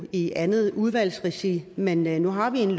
i andet udvalgsregi men men nu har vi et